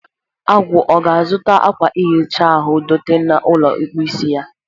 Agwu, ọ ga-azụta akwa ihicha ahụ dote na ụlọ ịkpụ isi ha?